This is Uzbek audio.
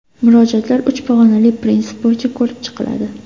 Murojaatlar uch pog‘onali prinsip bo‘yicha ko‘rib chiqiladi.